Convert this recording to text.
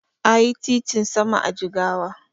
Ayi titin sama a Jigawa